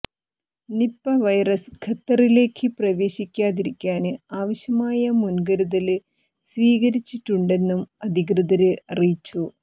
Nipah virus ഖത്തറിലേക്ക് പ്രവേശിക്കാതിരിക്കാന് ആവശ്യമായ മുന്കരുതല് സ്വീകരിച്ചിട്ടുണ്ടെന്നും അധികൃതര് അറിയിച്ചു